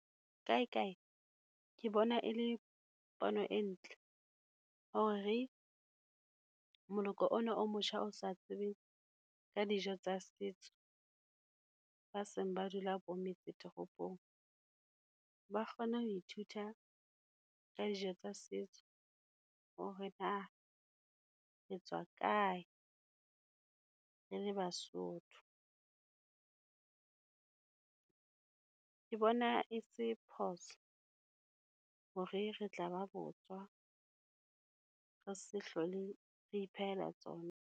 Kaekae, ke bona e le pono e ntle, hore moloko ona o motjha o sa tsebeng ka dijo tsa setso, ba seng ba dula bo metsetoropong, ba kgone ho ithuta ka dijo tsa setso. Hore na re tswa kae re le Basotho? Ke bona e se phoso hore re tla ba botswa, re se hlole re iphehela tsona.